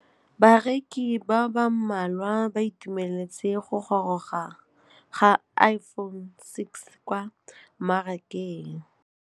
Bareki ba ba malwa ba ituemeletse go gôrôga ga Iphone6 kwa mmarakeng.